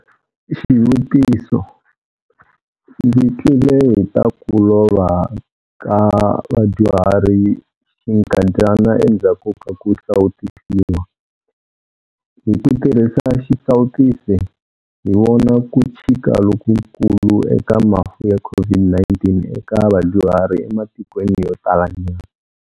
Xivutiso- Ndzi twile hi ta ku lova ka vadyuhari xinkandyana endzhaku ka ku sawutisiwa. Hi ku tirhisa xisawutisi, hi vona ku chika lokukulu eka mafu ya COVID-19 eka vadyuhari ematikweni yo talanyana.